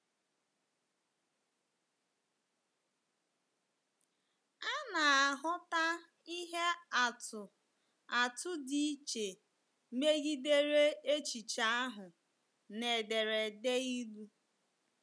A na-ahụta ihe atụ atụ dị iche megidere echiche ahụ na ederede Ilu.